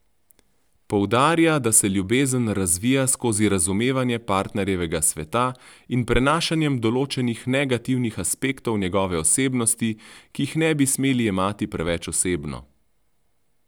Poudarja, da se ljubezen razvija skozi razumevanje partnerjevega sveta in prenašanjem določenih negativnih aspektov njegove osebnosti, ki jih ne bi smeli jemati preveč osebno.